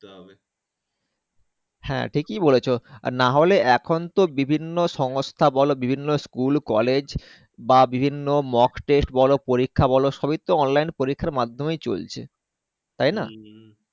হ্যাঁ ঠিক এ বলেছো আর নাহলে এখন তো বিভিন্ন সংস্থা বলো বিভিন্ন School college বা বিভিন্ন Mock Test বলো পরীক্ষা বলো সবই তো Online পরীক্ষা মাধ্যমে চলছে তাই না